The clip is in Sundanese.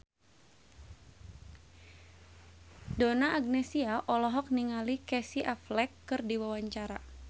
Donna Agnesia olohok ningali Casey Affleck keur diwawancara